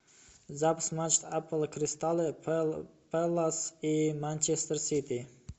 запись матча апл кристал пэлас и манчестер сити